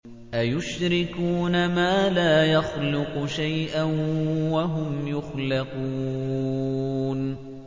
أَيُشْرِكُونَ مَا لَا يَخْلُقُ شَيْئًا وَهُمْ يُخْلَقُونَ